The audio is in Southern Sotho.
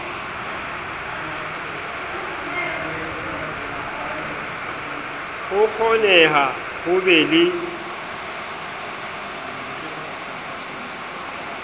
ho kgoneha ho be le